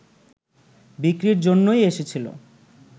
বিক্রির জন্যই এসেছিল